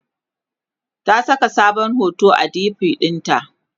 ta Saka sabon hoto a DP ɗinta